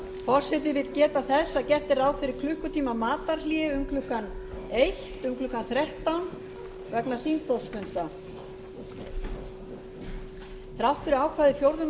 forseti vill geta þess að gert er ráð fyrir klukkutímamatarhléi um klukkan þrettán vegna þingflokksfunda þrátt fyrir ákvæði fjórðu